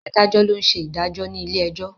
Adájọ́ ló ń ṣe ìdájọ́ ní ilé ẹjọ́.